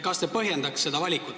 Kas te põhjendaks seda valikut?